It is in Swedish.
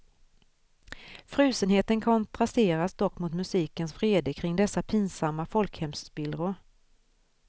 Frusenheten kontrasteras dock mot musikens vrede kring dessa pinsamma folkhemsspillror.